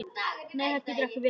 Nei það getur ekki verið.